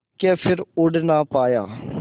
के फिर उड़ ना पाया